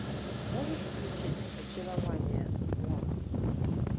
можешь включить очарование зла